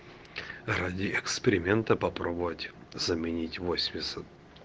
ради эксперимента попробовать заменить восемьдесят